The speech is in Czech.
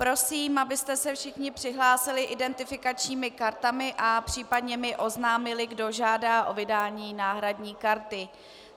Prosím, abyste se všichni přihlásili identifikačními kartami a případně mi oznámili, kdo žádá o vydání náhradní karty.